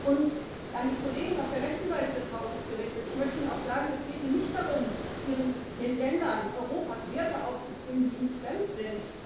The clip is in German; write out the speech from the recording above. Und an die Kollegen auf der rechten Seite des Hauses gerichtet Ich möchte Ihnen auch sagen, es geht hier nicht darum, den Ländern Europas Werte aufzuzwingen, die ihnen fremd sind.